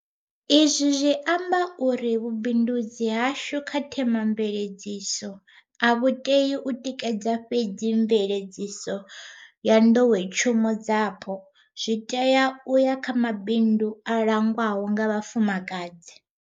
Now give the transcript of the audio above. Izwi zwi amba uri vhubindudzi hashu kha Thema mveledziso a vhu tei u tikedza fhedzi mveledziso ya nḓowetshumo dzapo, zwi tea u ya na kha mabindu a langwaho nga vhafumakadzi.